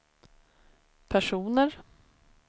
personer